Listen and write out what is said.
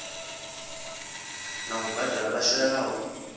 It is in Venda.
na u badela vha shayaho